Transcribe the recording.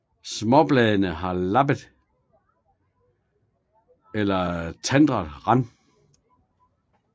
Småbladene har lappet eller tandet rand